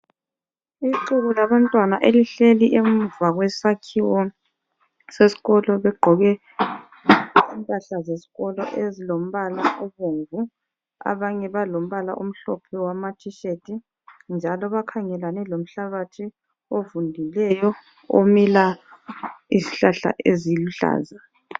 Ixuku labantwana elihleli emuva kwesakhiwo seskolo begqoke impahla zeskolo ezilomabala obomvu. Abanye balombala omhlophe wama tshirt njalo bakhangelane lomhlabathi ovundileyo omila izihlahlla eziluhlaza.